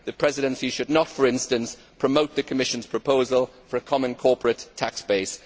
The Presidency should not, for instance, promote the Commission's proposal for a common corporate tax base.